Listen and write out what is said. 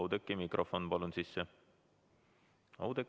Oudekki, pane mikrofon palun sisse!